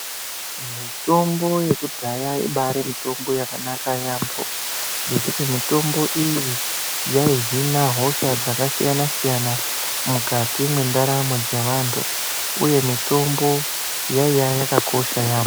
Mitombo yekudhaya ibaari mitombo yakanaka yaamho ngekuti mitombo iyi yaihina hosha dzakasiyana siyana mukati mwendaramo dzaanhu uye mitombo yaiya yakakosha yaamho.